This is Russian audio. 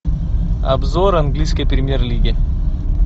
обзор английской премьер лиги